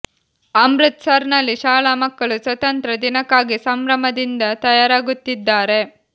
ಅಮೃತ್ ಸರ್ ನಲ್ಲಿ ಶಾಲಾ ಮಕ್ಕಳು ಸ್ವತಂತ್ರ ದಿನಕ್ಕಾಗಿ ಸಂಭ್ರಮದಿಂದ ತಯಾರಾಗುತ್ತಿದ್ದಾರೆ